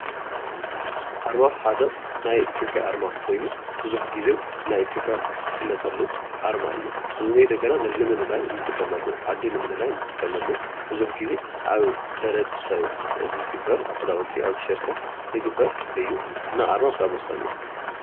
ኣርማ ሓደ ናይ ኢትዮጰያ ኣርማ ኮይኑ ብዙሕ ግዜ ናይ ኢትዮጰያ እትፍለጠሉ ኣርማ እዩ። ኣዲ ንምልላይ እንጥቀመሉ ብዙሕ ግዜ ኣብ ሕብረተሰብ ዝግበር ኣብ ክዳውቲ ኣብ ቲሸርቲታት ዝግበር እዩ እና ኣርማ ብጣዕሚ ወሳኒ እዩ።